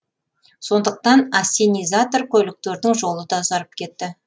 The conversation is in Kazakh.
сондықтан ассенизатор көліктердің жолы да ұзарып кетті